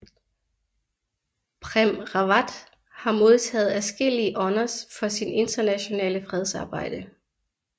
Prem Rawat har modtaget adskillige honors for sin internationale fredsarbejde